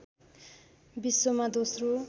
विश्वमा दोस्रो